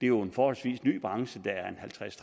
jo en forholdsvis ny branche den er halvtreds